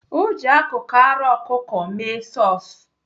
Ọ ji akụkụ ara ọkụkụ mee sọs.